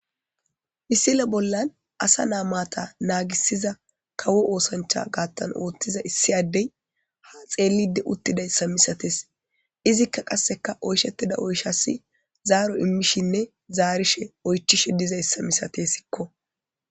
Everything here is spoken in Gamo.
misile bollan asa naamaata naagisiza kawo oosancha gaattan oottiza issi addey ha xeelide uttidayssa misates izikka qasseka oyshettida oyshasi zaaro immishinne zaarishe oychishe dizayssa misatessikko